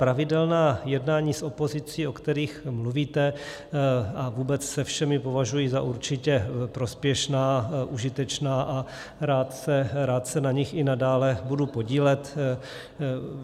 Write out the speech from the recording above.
Pravidelná jednání s opozicí, o kterých mluvíte, a vůbec se všemi považuji za určitě prospěšná, užitečná a rád se na nich i nadále budu podílet.